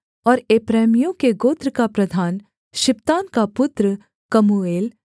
और एप्रैमियों के गोत्र का प्रधान शिप्तान का पुत्र कमूएल